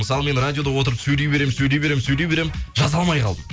мысалы мен радиода отырып сөйлей беремін сөйлей беремін сөйлей беремін жаза алмай қалдым